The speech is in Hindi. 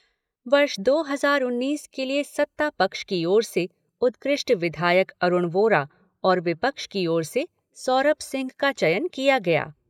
वर्ष दो हजार उन्नीस के लिए सत्तापक्ष की ओर से उत्कृष्ट विधायक अरूण वोरा और विपक्ष की ओर से सौरभ सिंह का चयन किया गया।